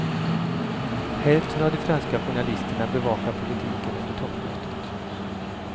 Hälften av de franska journalisterna bevakar politiken under toppmötet.